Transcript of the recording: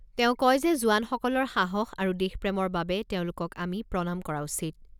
তেওঁ কয় যে জোৱানসকলৰ সাহস আৰু দেশপ্ৰেমৰ বাবে তেওঁলোকক আমি প্ৰণাম কৰা উচিত।